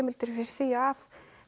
heimildir fyrir því af